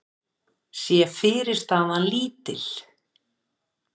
sé fyrirstaðan lítil.